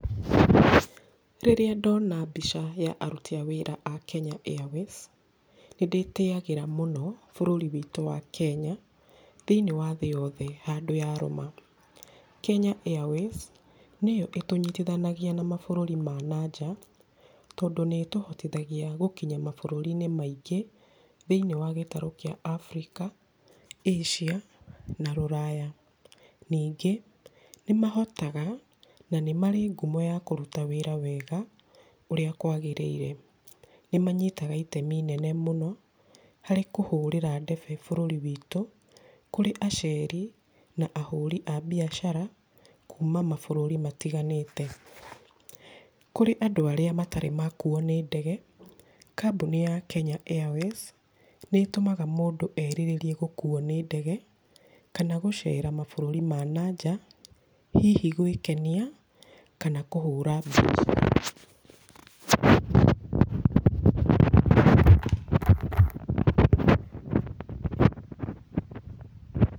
Rĩrĩa ndona mbica ya aruti a wĩra a Kenya Airways, nĩ ndĩtĩyagĩra mũno bũrũri witũ wa Kenya, thĩiniĩ wa thĩ yothe handũ yarũma. Kenya Airways nĩyo ĩtũnyitithanagia na mabũrũri ma nanja, tondũ nĩ tũhotithagia gũkinya mabũrũri-inĩ maingĩ, thĩiniĩ wa gĩtarũ kĩa Africa, Asia, na rũraya. Ningĩ, nĩ mahotaga na nĩ marĩ ngumo ya kũruta wĩra wega, ũrĩa kwagĩrĩire. Nĩ manyitaga itemi inene mũno harĩ kũhũrĩra ndebe bũrũri witũ, kũrĩ aceri, na ahũri a biacara kuma mabũrũri matiganĩte. Kũrĩ andũ arĩa matarĩ makuwo nĩ ndege, kambuni ya Kenya Airways, nĩ ĩtũmaga mũndũ erirĩrie gũkuo nĩ ndege, kana gũcera mabũrũri ma nanja, hihi gwĩkenia, kana kũhũra biacara.